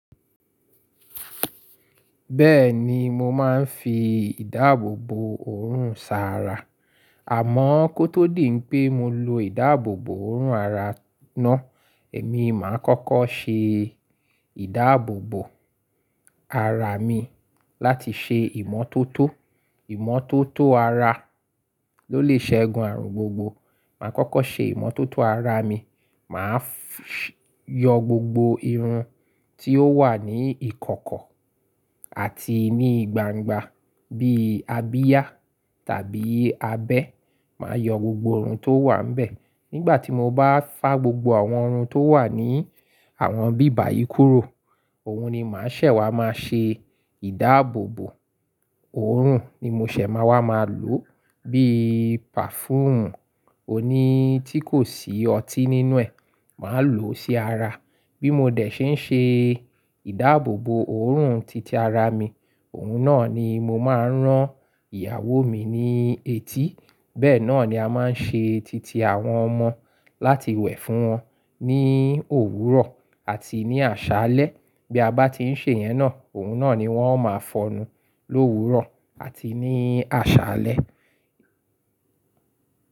Bẹ́ẹ̀ni, mo máa ń fi ìdáàbòbò òórùn sa ara. Àmọ́ kó tó di pé mo lo ìdáàbòbò òórùn ara náà, èmi máa ń kọ́kọ́ ṣe ìdáàbòbò ara mi láti ṣe ìmọ́tótó. Ìmọ́tótó ara ló lè ṣe gun àrùn gbogbo. Màá kọ́kọ́ ṣe ìmọ́tótó ara mi. Màá yọ gbogbo irun tí ó wà ní ìkọ̀kọ̀ àti ní gbangba bíi abíá tàbí abẹ́. Màá yọ gbogbo irun tó wà níbẹ̀. Nígbà tí mo bá fà gbogbo àwọn ohun tó wà ní àwọn bíbàyì kúrò, òun ni màá ṣẹ̀ wá máa ṣe ìdáàbòbò òórùn ni mo ṣẹ̀ máa wá máa lò bíi pàfúùn òní tí kò sí ọtí nínú ẹ̀. Màá lò ó sí ara. Bí mo dẹ̀ ṣe ń ṣe ìdáàbòbò òórùn titi ara mi, òun náà ni mo máa ń rán ìyàwó mi ní etí. Bẹ́ẹ̀ náà ni a máa ń ṣe titi àwọn ọmọ láti wẹ̀ fún wọn ní òwúrọ̀ àti ní àṣálẹ́. Bí a bá ti ń ṣe ìyẹn náà, òun náà ni wọ́n ó máa fọnù l’òwúrọ̀ àti ní àṣálẹ́.